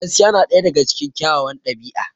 Gaskiya na ɗaya daga cikin kyawawan ɗabi'a.